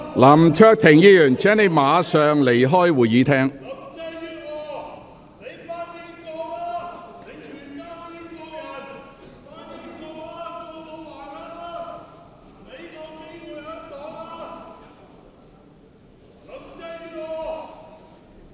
林卓廷議員，請你立即離開會議廳。